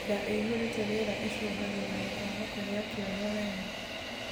Ndaa iihurite rĩera icungagirirĩa kwaga kugia kioro wega